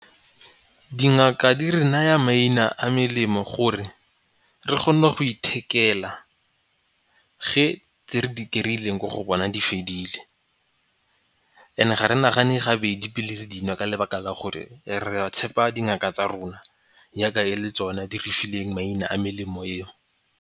Dingaka di re naya maina a melemo gore re kgone go ithekela ge tse re di kry-ileng ko go bona di fedile. And-e ga re nagane gabedi pele re di nwa ka lebaka la gore re tshepa dingaka tsa rona yaka e le tsona di re fileng maina a melemo eo.